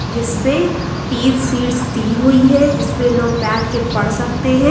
जिसमें तीन सीट्स दी हुई है जिसमें लोग बैठ के पढ़ सकते हैं।